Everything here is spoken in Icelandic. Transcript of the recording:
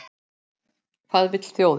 Hvað vill þjóðin?